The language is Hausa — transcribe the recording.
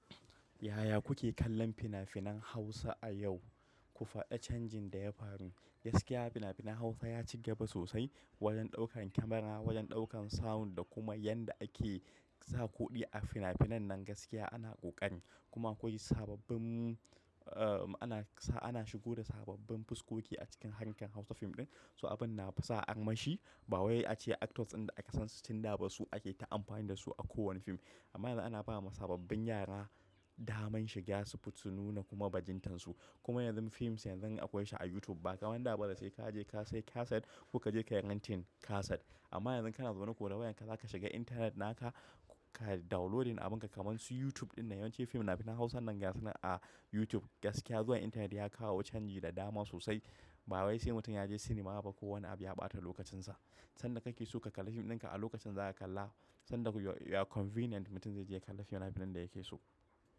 Yaya kuke kallon fina-finan Hausa a yau? Ku faɗa canjin da ya faru. Gaskiya fina-finan Hausa ya ci gaba sosai wajen ɗaukar kyamara, wajen ɗaukan sound da kuma yadda ake sa kuɗi a fina-finan nan gaskiya ana ƙoƙari. Kuma akwai sababbin, ana, ana shigo da sababbin fuskoki a cikin hangen Hausa fim ɗin. So abin na sa armashi. Ba waye a ce actors inda aka san su tun da ba su ake ta amfani da su a kowane fim. Amma yanzu ana ba ma sababbin yara daman shiga su nuna kuma bajintar su. Kuma yanzu fim yanzu akwai su a youtube. Ba kawai nan da ba da sai ka je ka sayi kaset kuka je ka rentin kaset. Amma yanzu kana zaune ko da wayan ka zaka shiga intanet naka ka da downloading abin ka kaman su YouTube dinnan. Yawanci fim fina-finan Hausa nan gaskiya suna a YouTube. Gaskiya zuwan intanet ya kawo canji da dama sosai. Ba waye sai mutum ya je cinema ba. Ko wani abu ya ɓata lokacin sa. Sanda ka ke so ka kalla fim ɗin ka a lokacin za ka kalla. Sanda ya convenient mutum zai je ya kalla fina-finan da yake so.